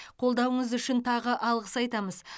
қолдауыңыз үшін тағы алғыс айтамыз